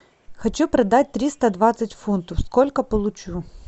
хочу продать триста двадцать фунтов сколько получу